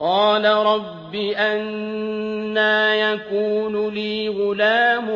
قَالَ رَبِّ أَنَّىٰ يَكُونُ لِي غُلَامٌ